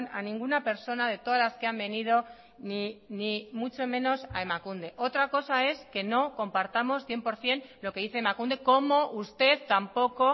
a ninguna persona de todas las que han venido ni mucho menos a emakunde otra cosa es que no compartamos cien por ciento lo que dice emakunde como usted tampoco